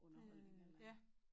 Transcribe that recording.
Underholdning et eller andet